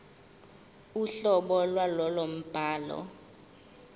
uhlobo lwalowo mbhalo